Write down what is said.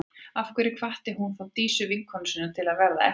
Af hverju hvatti hún þá Dísu, vinkonu sína, til að verða eftir?